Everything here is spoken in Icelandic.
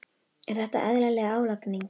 Er þetta eðlileg álagning?